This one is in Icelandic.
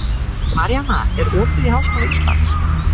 Maríanna, er opið í Háskóla Íslands?